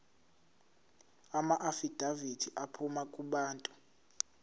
amaafidavithi aphuma kubantu